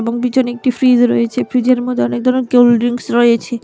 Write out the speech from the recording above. ওর পিছনে একটি ফ্রিজ রয়েছে ফ্রিজে মধ্যে অনেক ধরনের কোলড্রিংস রয়েছে।